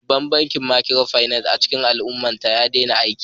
Babban bankin Micropinaci a cikin al'ummata ya daina aiki